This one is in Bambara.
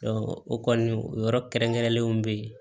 o kɔni o yɔrɔ kɛrɛnkɛrɛnlenw bɛ yen